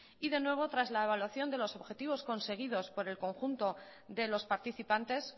y de nuevo tras la evaluación de los objetivos conseguidos por el conjunto de los participantes